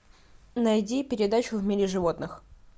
найди передачу в мире животных